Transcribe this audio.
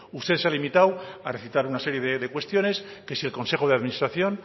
usted se ha limitado a recitar una serie de cuestiones que si el consejo de administración